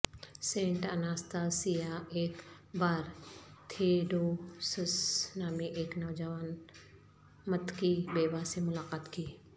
Saint Anastasia ایک بار Theodosius نامی ایک نوجوان متقی بیوہ سے ملاقات کی